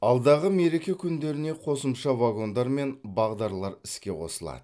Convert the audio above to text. алдағы мереке күндеріне қосымша вагондар мен бағдарлар іске қосылады